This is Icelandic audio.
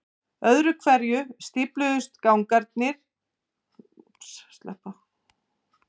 Öðru hverju stífluðu gangar þetta rennsli og veittu því til yfirborðs.